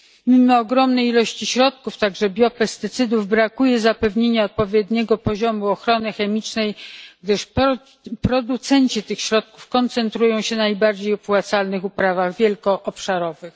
Mimo ogromnej ilości środków, także biopestycydów, brakuje zapewnienia odpowiedniego poziomu ochrony chemicznej, gdyż producenci tych środków koncentrują się na najbardziej opłacalnych uprawach wielkoobszarowych.